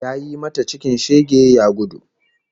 Yayi mata cikin shege ya gudu